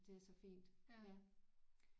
Det er så fint ja